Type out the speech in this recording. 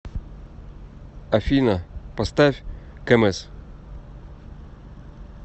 афина поставь кэмэз